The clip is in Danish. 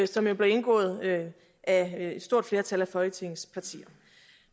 som jo blev indgået af et stort flertal af folketingets partier